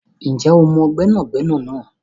Ǹjẹ́ o mọ gbẹ́nàgbẹnà náà?